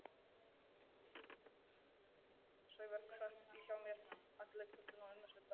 Sævar sat hjá mér allt kvöldið og allan næsta dag.